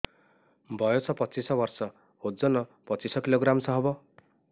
ବୟସ ପଚିଶ ବର୍ଷ ଓଜନ ପଚିଶ କିଲୋଗ୍ରାମସ ହବ